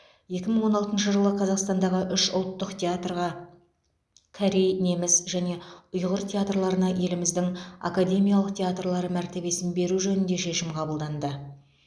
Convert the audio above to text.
екі мың он алтыншы жылы қазақстандағы үш ұлттық театрға корей неміс және ұйғыр театрларына еліміздің академиялық театрлары мәртебесін беру жөнінде шешім қабылданды